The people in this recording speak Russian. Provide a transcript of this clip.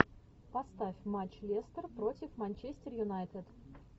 поставь матч лестер против манчестер юнайтед